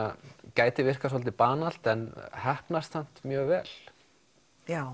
gæti virkað svolítið banalt en heppnast samt mjög vel já